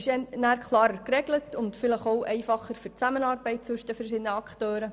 Danach ist es klarer geregelt und vielleicht auch einfacher für die Zusammenarbeit der verschiedenen Akteure.